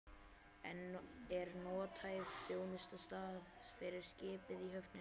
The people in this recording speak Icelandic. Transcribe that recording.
En er nothæf þjónustuaðstaða fyrir skipið í höfninni?